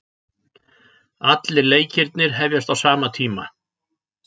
Allir leikirnir hefjast á sama tíma